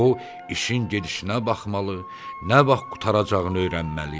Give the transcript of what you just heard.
o, işin gedişinə baxmalı, nə vaxt qurtaracağını öyrənməli idi.